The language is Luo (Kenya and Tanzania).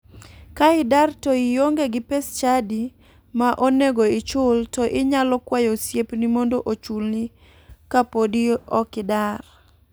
Ka idar to ionge gi pes chadi ma onego ichul to inyalo kwayo osiepni mondo ochulni kapodi ok idar.